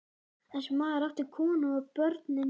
Þessi maður átti konu og börn inní bæ.